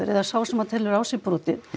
eða sá sem telur á sér brotið